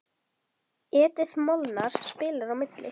Edith Molnar spilar á milli.